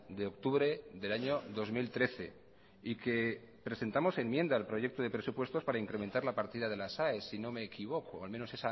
de octubre del año dos mil trece y que presentamos enmienda al proyecto de presupuestos para incrementar la partida de las aes si no me equivoco al menos